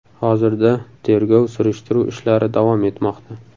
Hozirda tergov-surishtiruv ishlari davom etmoqda.